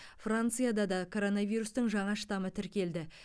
францияда да коронавирустың жаңа штаммы тіркелді